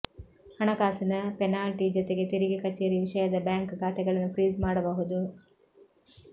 ಹಣಕಾಸಿನ ಪೆನಾಲ್ಟಿ ಜೊತೆಗೆ ತೆರಿಗೆ ಕಚೇರಿ ವಿಷಯದ ಬ್ಯಾಂಕ್ ಖಾತೆಗಳನ್ನು ಫ್ರೀಜ್ ಮಾಡಬಹುದು